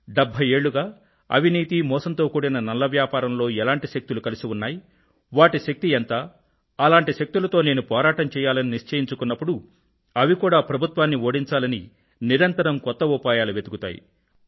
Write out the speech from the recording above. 70 ఏళ్ళుగా అవినీతి మోసంతో కూడిన నల్ల వ్యాపారంలో ఎలాంటి శక్తులు కలిసి ఉన్నాయి వాటి శక్తి ఎంత అలాంటి శక్తులతో నేను పోరాటం చెయ్యాలని నిశ్చయించుకున్నప్పుడు అవి కూడా ప్రభుత్వాన్ని ఓడించాలని నిరంతరం కొత్త ఉపాయాలు వెతుకుతాయి